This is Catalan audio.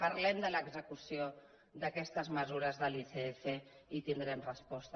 parlem de l’execució d’aquestes mesures de l’icf i tindrem resposta